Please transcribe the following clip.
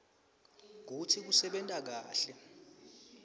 kutsi kusebenta kahle